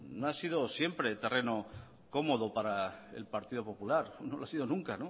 no ha sido siempre terreno cómodo para el partido popular no lo ha sido nunca